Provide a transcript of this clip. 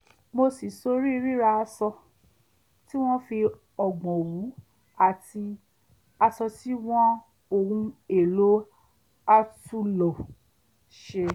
mo ṣí sórí ríra aṣọ tí wọ́n fi o̩gbọ̀ òwú àti as̩o̩ tí wọ́n ohun èlò àtúnlò s̩e